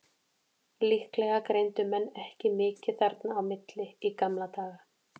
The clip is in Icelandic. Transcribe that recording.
Líklega greindu menn ekki mikið þarna á milli í gamla daga.